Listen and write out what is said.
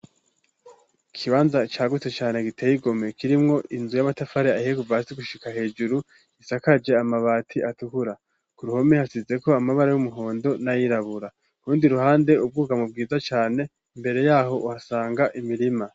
Ikibanza cagutse cane giteye igomwe kirimwo inzu y'amatafari ahiye Kuva hasi gushika hejuru isakaje amabati atukura ku ruhome hasizeko amabara y'umuhondo nayirabura kurundi ruhande ubwugamo bwiza cane mbere yaho uhasanga imirima.